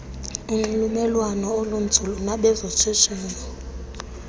nonxulumelwano olunzulu nabezoshishino